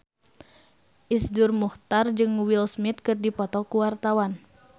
Iszur Muchtar jeung Will Smith keur dipoto ku wartawan